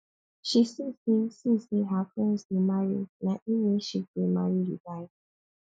she see sey see sey her friends dey marry na im make she gree marry di guy